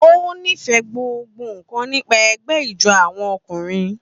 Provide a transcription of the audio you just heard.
Ó nífẹ̀ẹ́ gbogbo nkan nípa ẹgbẹ́ ijó àwọn ọkùnrin.